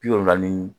Bi wolonwula ni